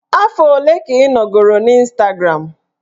Afọ ole ka ị nọgoro n'Ịstagram?